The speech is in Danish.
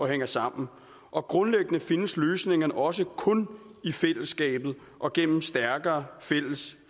hænger sammen og grundlæggende findes løsningerne også kun i fællesskabet og gennem stærkere fælles